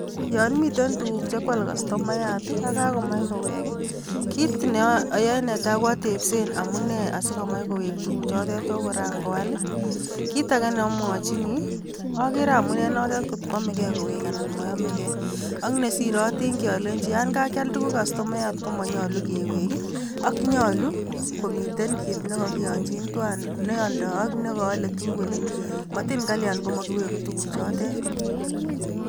Yon miten tuguuk che koal kastomayaat, ak kakomach koowek. Kit netai neoyoe ko atebseen amune sikaikomach kowek tuguukchotet chekoran koal I,kitage neomwochini ogere amune inotet angot koyoome kei kowek anan moyomegei. Ak nesire atingyii alenyii yon kakial tuguuk kastomaayaat komonyolu keweguu, ak nyolu komiten kit nekokinyoonyin tuwan neoldoi ak nekoole tuguuk. Motin kalian komokiwegu tuguuk che kakial.